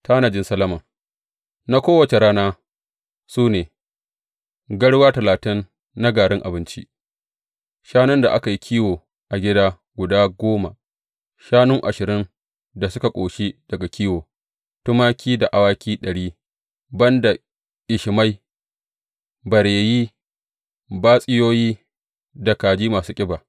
Tanajin Solomon na kowace rana su ne, garwa talatin na garin abinci, shanun da aka yi kiwo a gida guda goma, shanu ashirin da suka ƙoshi daga kiwo, tumaki da awaki ɗari; ban da ƙishimai, bareyi, batsiyoyi, da kaji masu ƙiba.